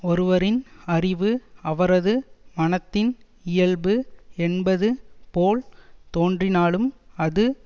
ஒருவரின் அறிவு அவரது மனத்தின் இயல்பு என்பது போல் தோன்றினாலும் அது